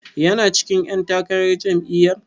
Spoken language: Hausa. Yana cikin ƴan takarar jam'iyyar?